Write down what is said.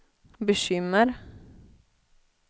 bekymmer